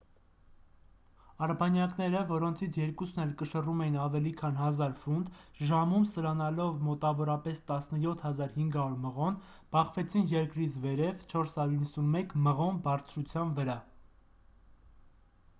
արբանյակները որոնցից երկուսն էլ կշռում էին ավելի քան 1,000 ֆունտ ժամում սլանալով մոտավորապես 17,500 մղոն բախվեցին երկրից վերև 491 մղոն բարձրության վրա